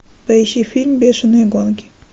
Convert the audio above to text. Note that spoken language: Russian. поищи фильм бешеные гонки